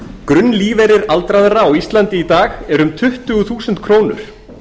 grunnlífeyrir aldraðra á íslandi í dag er um tuttugu þúsund krónur